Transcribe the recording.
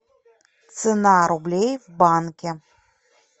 цена рублей в банке